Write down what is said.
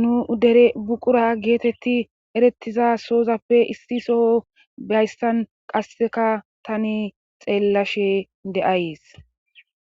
nu dere buqura geetetti erettiza soozappe issi soho bayssan qasseka tani xeellashe de'ayes